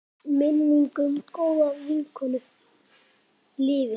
Minning um góða vinkonu lifir.